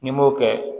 N'i m'o kɛ